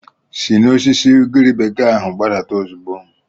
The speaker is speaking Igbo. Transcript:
Si n'osisi ugiri bekee ahụ gbadata ozugbo!